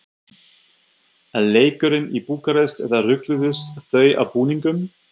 Er leikurinn í Búkarest eða rugluðust þau á búningum?